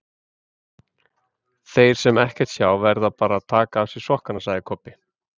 Þeir sem ekkert sjá verða bara að taka af sér sokkana, sagði Kobbi.